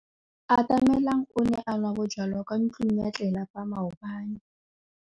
Atamelang o ne a nwa bojwala kwa ntlong ya tlelapa maobane.